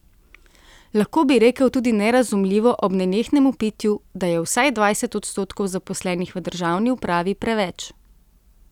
Lahko bi rekel tudi nerazumljivo ob nenehnem vpitju, da je vsaj dvajset odstotkov zaposlenih v državni upravi preveč.